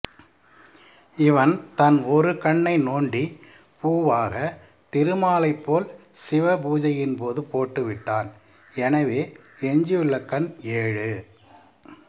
இவன் தன் ஒருகண்ணை நோண்டி பூவாக திருமாலைப் போல் சிவபூசையின்போது போட்டுவிட்டான் எனவே எஞ்சியுள்ள கண் ஏழு